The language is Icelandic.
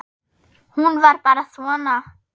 Hún var bara svona